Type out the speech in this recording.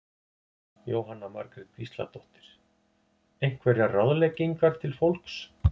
Jóhanna Margrét Gísladóttir: Einhverjar ráðleggingar til fólks?